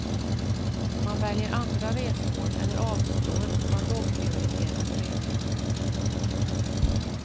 Man väljer andra resmål eller avstår från lågprioriterade resor.